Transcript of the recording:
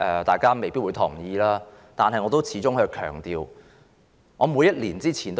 大家未必同意，但我始終要強調這點。